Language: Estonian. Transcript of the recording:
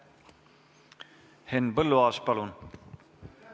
Henn Põlluaas, palun!